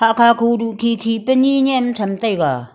kakho duk khi khi pe ni nyem tham taiga.